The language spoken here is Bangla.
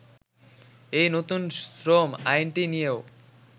এই নতুন শ্রম আইনটি নিয়েও